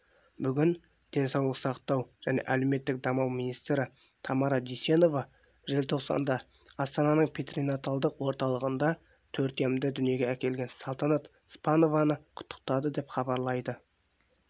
бүгін денсаулық сақтау және әлеуметтік даму министрі тамара дүйсенова желтоқсанда астананың перинаталдық орталығында төртемді дүниеге әкелген салтанат спанованы құттықтады деп хабарлайды